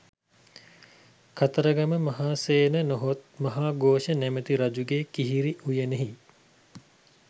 කතරගම මහාසේන නොහොත් මහාඝෝෂ නමැති රජුගේ කිහිරි උයනෙහි